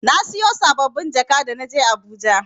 Na siyo saɓɓabin jaka da na je Abuja.